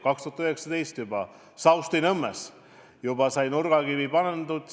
Juba 2019 sai Saustinõmmes nurgakivi pandud.